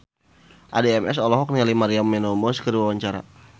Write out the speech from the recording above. Addie MS olohok ningali Maria Menounos keur diwawancara